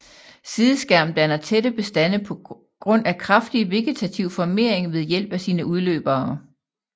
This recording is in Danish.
Sideskærm danner tætte bestande på grund af kraftig vegetativ formering ved hjælp af sine udløbere